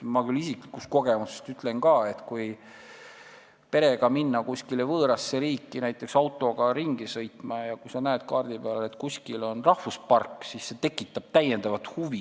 Ma ütlen ka isiklikust kogemusest, et kui näiteks autoga ringi sõita ja minna perega kuskile võõrasse riiki, siis see, kui sa näed kaardi peal, et kuskil on rahvuspark, tekitab täiendavat huvi.